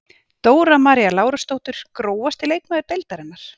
Dóra María Lárusdóttir Grófasti leikmaður deildarinnar?